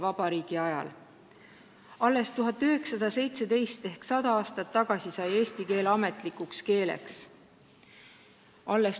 Kooligrammatikate ja õigekeelsussõnaraamatute mõjul ühtlustus eesti kirjakeel esimese vabariigi ajal märgatavalt.